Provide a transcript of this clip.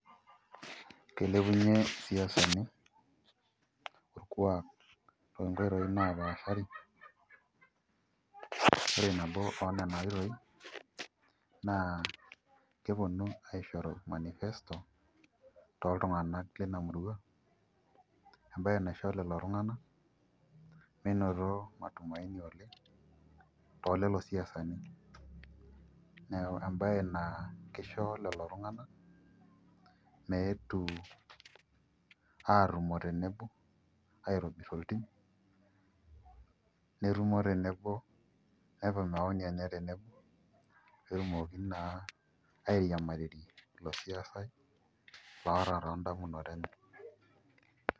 Kilepunyie isiasani orkuak toonkoitoi naapaashari, ore nabo oonena oitoi naa keponu aishoru manifesto toltung'anak lina murua embaye naisho lelo tung'anak meinoto matumaini oleng' toolelo siasani neeku embaye naa kisho lelo tung'anak meetu aatumo tenebo aitobirr oltim netumo tenebo nepik maoni tenebo pee etumoki naa airiamariyie ilo siasai loota toondamunot enye.